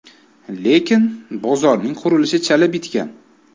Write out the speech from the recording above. Lekin, bozorning qurilishi chala bitgan.